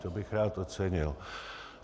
To bych rád ocenil.